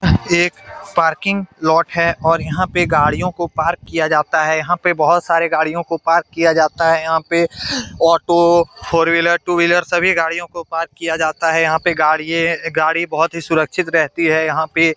एक parking lot है और यहाँ पे गाड़ियों को पार्क किया जाता है। यहाँ पे बोहोत सारे गाड़ियों को पार्क किया जाता है। यहाँ पे ऑटो फोर-व्हीलर टू-वीलर सभी गाड़ियों को पार्क किया जाता है। यहाँ पे गाड़िये-गाड़ी बोहोत सुरक्षित रहती है यहाँ पे |